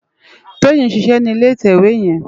Toyin n ṣiṣè ni ilé itèwé yèn